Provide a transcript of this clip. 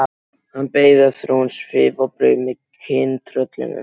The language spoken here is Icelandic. Hann beið eftir að hún svifi á braut með kyntröllinu.